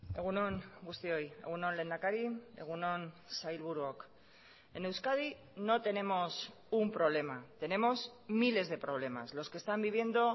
egun on guztioi egun on lehendakari egun on sailburuok en euskadi no tenemos un problema tenemos miles de problemas los que están viviendo